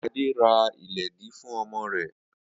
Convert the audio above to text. Ade ra iledìí fun omo re